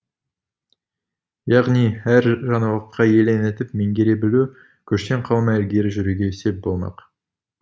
яғни әр жаңалыққа елең етіп меңгере білу көштен қалмай ілгері жүруге сеп болмақ